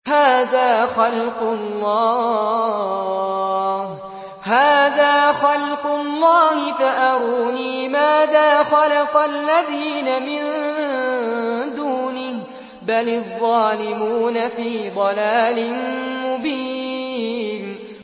هَٰذَا خَلْقُ اللَّهِ فَأَرُونِي مَاذَا خَلَقَ الَّذِينَ مِن دُونِهِ ۚ بَلِ الظَّالِمُونَ فِي ضَلَالٍ مُّبِينٍ